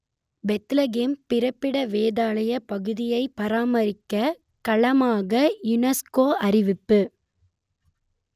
Bethlehem பிறப்பிடத் வேதாலயப் பகுதியை பாரம்பரியக் களமாக யுனெஸ்கோ அறிவிப்பு